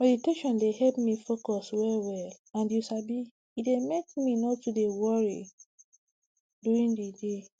meditation dey help me focus wellwell and you sabi e dey make me no too dey worry during the day